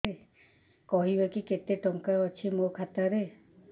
କହିବେକି କେତେ ଟଙ୍କା ଅଛି ମୋ ଖାତା ରେ